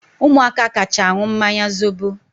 Umuaka kacha aṅụ mmanya zobo